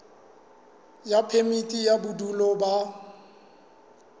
ya phemiti ya bodulo ba